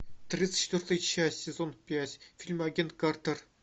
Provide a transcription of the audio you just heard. тридцать четвертая часть сезон пять фильм агент картер